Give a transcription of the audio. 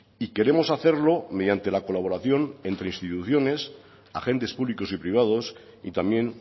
y queremos hacerlo mediante la colaboración entre instituciones agentes públicos y privados y también